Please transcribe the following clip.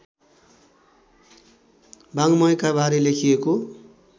वाङ्मयका बारे लेखिएको